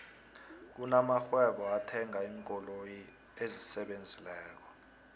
kuna marhwebo ethanga iinkoloyi esisebenzileko